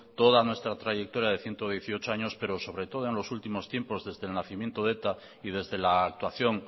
toda nuestra trayectoria de ciento dieciocho años pero sobre todo en los últimos tiempos desde el nacimiento de eta y desde la actuación